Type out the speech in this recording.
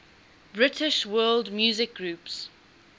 british world music groups